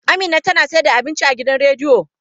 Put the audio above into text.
Amina tana sayar da abinci a gidan rediyo.